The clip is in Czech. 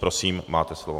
Prosím, máte slovo.